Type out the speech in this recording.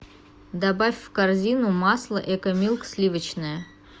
добавь в корзину масло экомилк сливочное